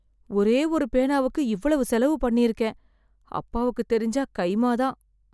ஒரே ஒரு பேனாவுக்கு இவ்வளவு செலவு பண்ணியிருக்கேன். அப்பாவுக்குத் தெரிஞ்சா கைமா தான்.